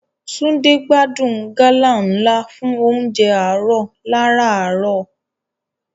Túndé gbádùn gálà ńlá fún oúnjẹ àárọ̀ lárààárọ̀.